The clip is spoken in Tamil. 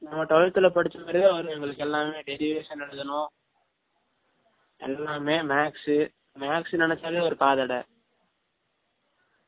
நம்ம twelfth ல படிச்ச மாரியே தான் வரும் derivation எலுதனும் எல்லமே maths , maths நினைசாலே ஒரு காதடை